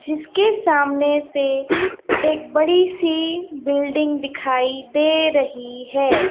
जिसके सामने से एक बड़ी सी बिल्डिंग दिखाई दे रही है।